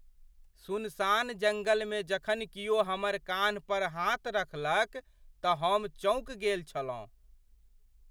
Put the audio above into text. सुनसान जङ्गलमे जखन कियो हमर कान्ह पर हाथ रखलक तँ हम चौंकि गेल छलहुँ।